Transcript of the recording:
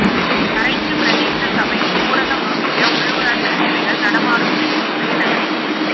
கரைச்சி பிரதேச சபையின் ஊரகம் நோக்கிய உள்ளூராட்சி சேவைகள் நடமாடும் சேவை உதயநகரில்